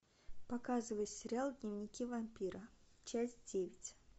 показывай сериал дневники вампира часть девять